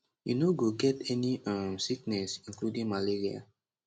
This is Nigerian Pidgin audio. you no go get any um sickness including malaria